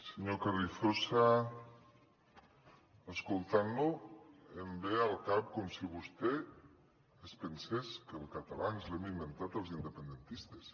senyor carrizosa escoltant lo em ve al cap com si vostè es pensés que el català ens l’hem inventat els independentistes